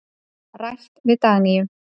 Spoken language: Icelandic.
Rætt við Dagnýju.